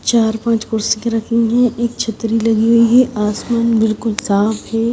चार पांच कुर्सी के रखी हुईं हैं एक छतरी लगी हुईं हैं आसमान बिल्कुल साफ हैं।